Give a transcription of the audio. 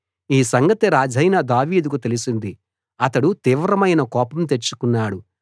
ఈ సంగతి రాజైన దావీదుకు తెలిసింది అతడు తీవ్రమైన కోపం తెచ్చుకున్నాడు